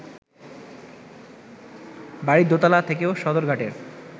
বাড়ির দোতলা থেকেও সদরঘাটের